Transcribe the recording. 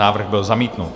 Návrh byl zamítnut.